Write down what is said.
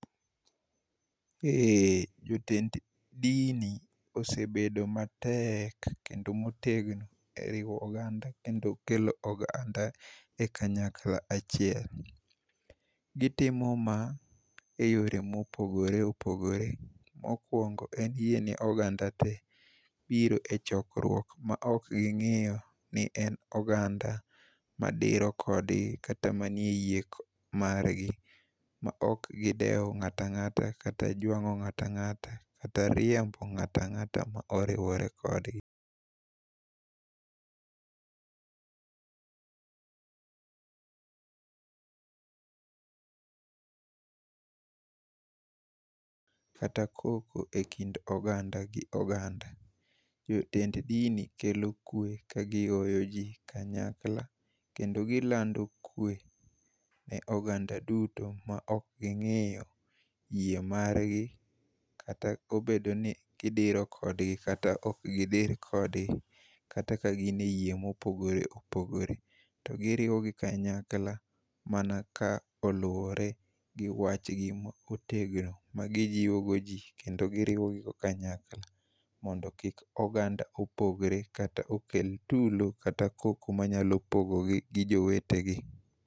Eh, jotend dini osebedo matek kendo motegno e riwo oganda kendo kelo oganda e kanyakla achiel. Gitimo ma e yore mopogore opogore. Mokwongo en yie ne oganda te biro e chokruok ma ok ging'iyo ni en oganda madiro kodgi kata manie yie margi ma ok gidewo ng'ata ang'ata kata jwang'o ng'ata ang'ata kata riembo ng'ata ang'ata ma oriwore kodgikata koko e kind oganda gi oganda. Jotend dini kelo kwe ka gioyo ji kanyakla kendo gilando kwe ne oganda duto maok ging'iyo yie margi kata obedo ni gidiro kodgi kata okgidir kodgi kata ka ka gin e yie mopogore opogore, to giriwogi kanyakla mana ka oluwore gi wachgi ma otegno ma gijiwogo ji kendo giriwogigo kanyakla mondo kik oganda opogre kata okel tulo kata koko manyalo pogogi gi jowetegi.